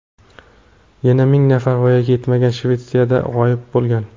Yana ming nafar voyaga yetmagan Shvetsiyada g‘oyib bo‘lgan.